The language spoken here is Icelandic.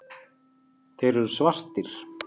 Þeir eru svartir.